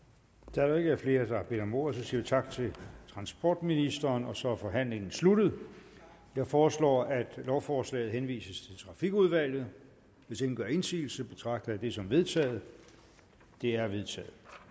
da der ikke er flere der har bedt om ordet siger vi tak til transportministeren og så er forhandlingen sluttet jeg foreslår at lovforslaget henvises til trafikudvalget hvis ingen gør indsigelse betragter jeg det som vedtaget det er vedtaget